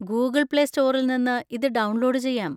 Google play സ്റ്റോറിൽ നിന്ന് ഇത് ഡൗൺലോഡ് ചെയ്യാം.